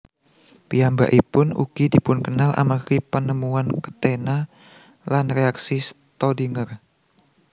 Piyambakipun ugi dipunkenal amargi penemuan ketena lan reaksi Staudinger